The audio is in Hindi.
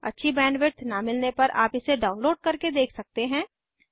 अच्छी बैंडविड्थ न मिलने पर आप इसे डाउनलोड करके देख सकते हैं